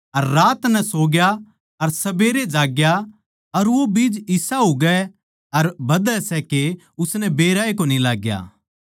अर रात नै सोग्या अर सबेरै जाग ग्या अर वो बीज इसा उगै अर बधै सै के उसनै बेराए कोनी लाग्या